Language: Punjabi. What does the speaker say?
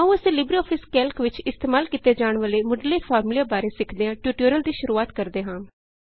ਆਉ ਅਸੀਂ ਲਿਬਰੇਆਫਿਸ ਕੈਲਕ ਵਿਚ ਇਸਤੇਮਾਲ ਕੀਤੇ ਜਾਣ ਵਾਲੇ ਮੁੱਢਲੇ ਫਾਰਮੂਲਿਆਂ ਬਾਰੇ ਸਿੱਖਿਦਿਆਂ ਟਯੂਟੋਰਿਅਲ ਦੀ ਸ਼ੁਰੁਆਤ ਕਰਦੇ ਹਾਂ